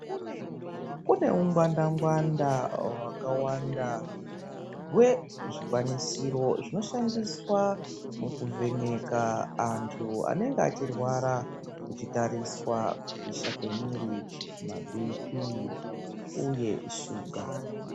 Kune ungwanfa ngwanda hwakawanda hwezvikwanisiro zvinoshandiswa kuvhenaka antu anenge achirwara kutariswa kukosha komuviri mabp uye shuga.